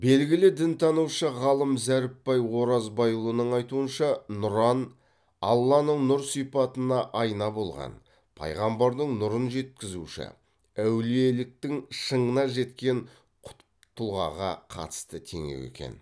белгілі дінтанушы ғалым зәріпбай оразбайұлының айтуынша нұран алланың нұр сипатына айна болған пайғамбардың нұрын жеткізуші әулиеліктің шыңына жеткен құтб тұлғаға қатысты теңеу екен